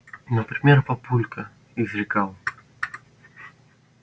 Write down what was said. например папулька изрекал